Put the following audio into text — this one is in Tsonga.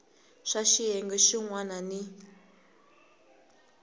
swa xiyenge xin wana ni